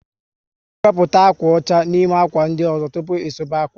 N' ewepụta ákwà ọcha n'ime ákwà ndị ọzọ tụpụ ị suba akwa